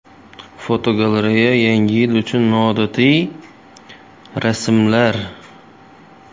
Fotogalereya: Yangi yil uchun noodatiy archalar.